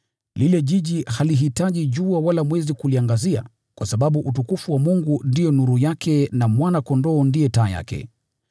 Ule mji hauhitaji jua wala mwezi kuuangazia, kwa sababu utukufu wa Mungu ndio nuru yake na Mwana-Kondoo ndiye taa yake.